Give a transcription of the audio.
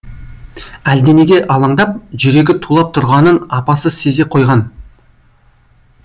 әлденеге алаңдап жүрегі тулап тұрғанын апасы сезе қойған